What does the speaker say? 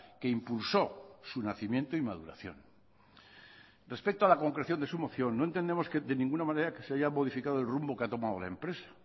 que impulsó su nacimiento y maduración respecto a la concreción de su moción no entendemos de ninguna manera que se haya modificado el rumbo que ha tomado la empresa